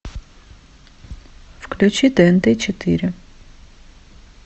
включи тнт четыре